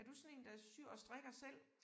Er du sådan én der syr og strikker selv?